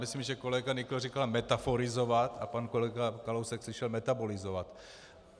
Myslím, že kolega Nykl říkal metaforizovat a pan kolega Kalousek slyšel metabolizovat.